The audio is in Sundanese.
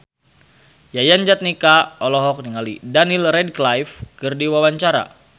Yayan Jatnika olohok ningali Daniel Radcliffe keur diwawancara